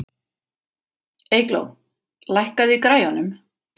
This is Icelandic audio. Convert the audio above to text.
Eygló, lækkaðu í græjunum.